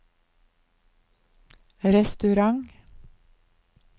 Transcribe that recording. restaurant